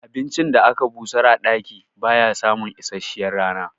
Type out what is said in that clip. Abincin da aka busar a ɗaki baya samun isasshiyar rana